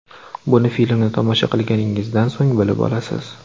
Buni filmni tomosha qilganingizdan so‘ng bilib olasiz.